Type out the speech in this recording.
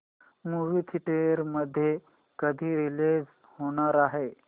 movie theatre मध्ये कधी release होणार आहे